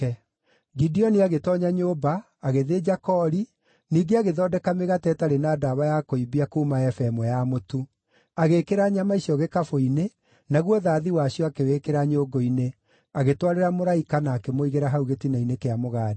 Gideoni agĩtoonya nyũmba, agĩthĩnja koori, ningĩ agĩthondeka mĩgate ĩtarĩ na ndawa ya kũimbia kuuma eba ĩmwe ya mũtu. Agĩĩkĩra nyama icio gĩkabũ-inĩ, naguo thathi wacio akĩwĩkĩra nyũngũ-inĩ, agĩtwarĩra mũraika na akĩmũigĩra hau gĩtina-inĩ kĩa mũgandi.